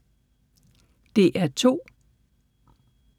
DR2